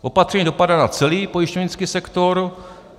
Opatření dopadá na celý pojišťovnický sektor.